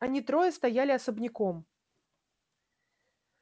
они трое стояли особняком